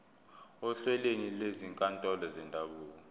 ohlelweni lwezinkantolo zendabuko